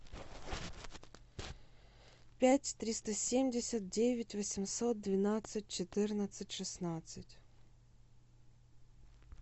пять триста семьдесят девять восемьсот двенадцать четырнадцать шестнадцать